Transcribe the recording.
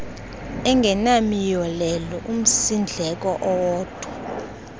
angenamiyolelo umsindleko owodwa